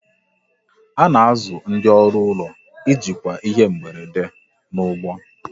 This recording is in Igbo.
A na-azụ ndị ọrụ ụlọ ijikwa ihe mberede n'ụgbọ